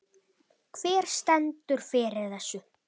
Hver stendur fyrir þessu?